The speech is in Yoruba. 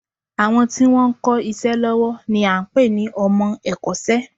Àwọn tí wọn ń kọ́ iṣẹ́ lọ́wọ́ ni à ń pè ní ọmọ ẹ̀kọ́ṣẹ́